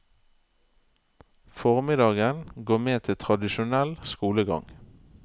Formiddagen går med til tradisjonell skolegang.